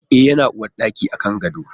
E, yana uwarɗaki a kan gado.